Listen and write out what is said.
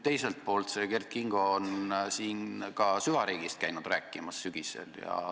Teiselt poolt käis Kert Kingo siin sügisel ka süvariigist rääkimas.